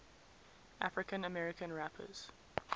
african american rappers